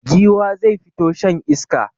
Giwa zai fito shan iska.